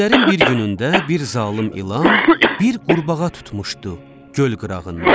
Günlərin bir günündə bir zalım ilan, bir qurbağa tutmuşdu göl qırağından.